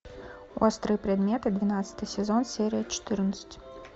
острые предметы двенадцатый сезон серия четырнадцать